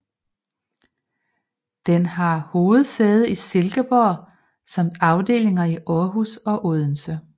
Den har hovedsæde i Silkeborg samt afdelinger i Aarhus og Odense